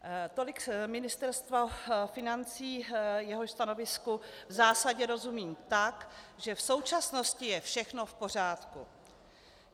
Tolik Ministerstvo financí, jehož stanovisku v zásadě rozumím tak, že v současnosti je všechno v pořádku.